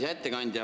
Hea ettekandja!